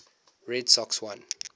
red sox won